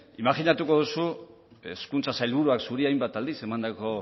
imajinatuko duzu hezkuntza sailburuak zuri hainbat aldiz emandako